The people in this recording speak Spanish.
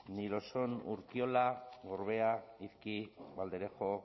ni lo son urkiola gorbea izki valderejo